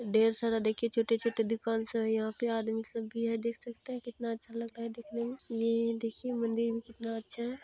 ढेर सारा देखिये छोटे छोटे दुकान सब है यहाँ पर आदमी सब भी है देख सकते है कितना अच्छा लगता है देखने में। ये देखिये मन्दिर भी कितना अच्छा है